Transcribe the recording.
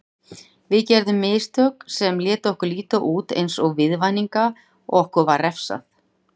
Við gerðum mistök sem létu okkur líta út eins og viðvaninga og okkur var refsað.